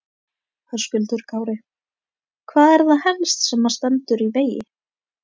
Höskuldur Kári: Hvað er það helst sem að stendur í vegi?